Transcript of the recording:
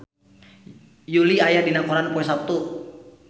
Yui aya dina koran poe Saptu